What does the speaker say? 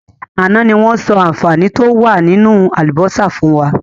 Àná ni wọn sọ àǹfààní to wá nínú àlùbósà fún wa.